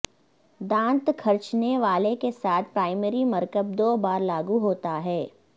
دانت کھرچنے والے کے ساتھ پرائمری مرکب دو بار لاگو ہوتا ہے